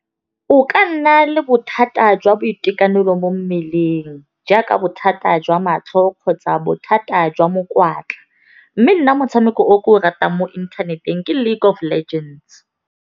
O ka nna le bothata jwa boitekanelo mo mmeleng jaaka bothata jwa matlho kgotsa bothata jwa mokwatla, mme nna motshameko o ke o ratang mo internet-eng ke League of Legends.